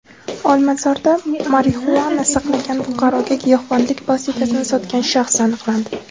Olmazorda marixuana saqlagan fuqaroga giyohvandlik vositasini sotgan shaxs aniqlandi.